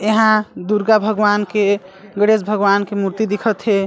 यहाँ दुर्गा भगवान के गणेश भगवन के मूर्ति दिखत है।